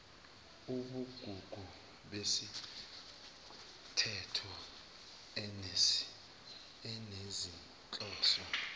ubugugu bemithetho enezinhloso